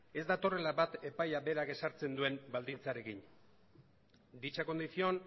ez datorrela bat epaiak berak ezartzen duen baldintzarekin dicha condición